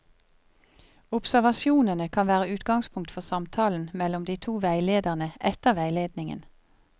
Observasjonene kan være utgangspunkt for samtalen mellom de to veilederne etter veiledningen.